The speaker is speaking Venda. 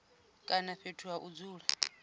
kana fhethu ha u dzula